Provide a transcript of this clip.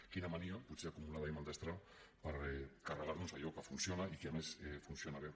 quina mania potser acumulada i maldestra per carregar nos allò que funciona i que a més funciona bé